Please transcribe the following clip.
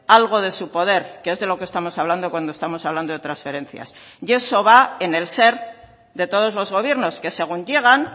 algo de su poder que es de lo que estamos hablando cuando estamos hablando de transferencias y eso va en el ser de todos los gobiernos que según llegan